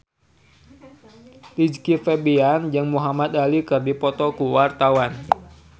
Rizky Febian jeung Muhamad Ali keur dipoto ku wartawan